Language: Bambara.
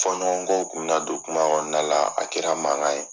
Fɔɲɔgɔnkɔw kun bɛ na don kumaw kɔnɔna la, a kɛra mankan ye